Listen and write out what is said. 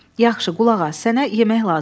Yaxşı, qulaq as, sənə yemək lazımdır.